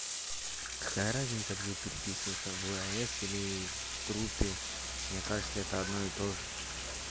какая разница где переписываться в лс или в группе мне кажется это одно и тоже